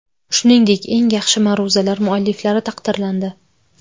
Shuningdek, eng yaxshi ma’ruzalar mualliflari taqdirlandi.